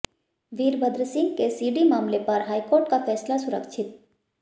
वीरभद्रसिंह के सीडी मामले पर हाईकोर्ट का फैसला सुरक्षित